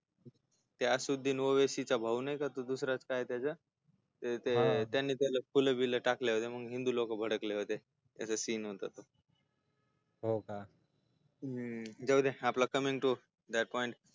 त्या सिद्धीमुळे त्याच्या दुसला भाऊ नाही का काय नाव त्याच त्यानी पहिले फुल बिल टाकले होते त्यामुळ हिेदू लोक भडकले होते त्याच्या scene होता तो हो का जाऊ दे आपला